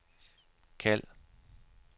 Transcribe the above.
kald